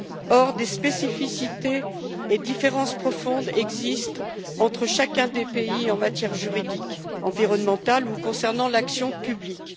Or des spécificités et des différences profondes existent entre chacun des pays en matière juridique, environnementale ou en ce qui concerne l'action publique.